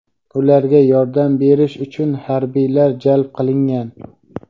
Ularga yordam berish uchun harbiylar jalb qilingan.